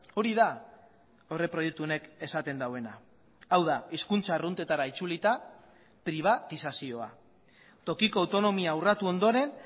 hori da aurreproiektu honek esaten duena hau da hizkuntza arruntetara itzulita pribatizazioa tokiko autonomia urratu ondoren